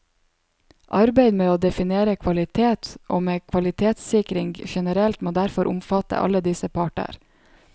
Arbeid med å definere kvalitet og med kvalitetssikring generelt må derfor omfatte alle disse parter.